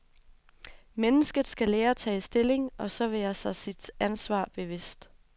Mennesket skal lære at tage stilling og så være sig sit ansvar bevidst.